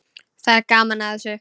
Það er gaman að þessu.